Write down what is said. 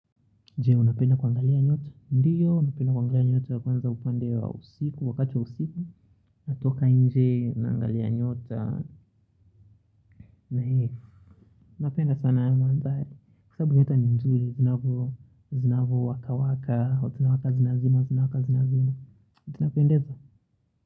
Je unapenda kuangalia nyota? Ndiyo napenda kuangalia nyota wa kwanza upande wa usiku wakati wa usiku natoka inje naangalia nyota naifu napenda sana haya mandhari kwa sababu nyota ni mzuri zinavo zinavo waka waka alafu zina waka zina zima zina waka zina zima zina pendeza.